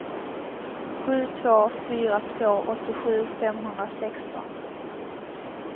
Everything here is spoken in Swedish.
sju två fyra två åttiosju femhundrasexton